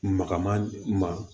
Magama